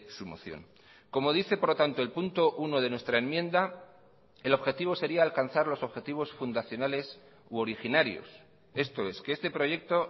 su moción como dice por lo tanto el punto uno de nuestra enmienda el objetivo sería alcanzar los objetivos fundacionales u originarios esto es que este proyecto